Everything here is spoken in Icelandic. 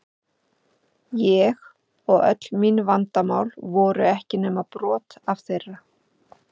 Ég og öll mín vandamál voru ekki nema brot af þeirra.